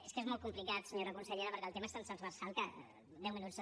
és que és molt complicat senyora consellera perquè el tema és tan tranversal que deu minuts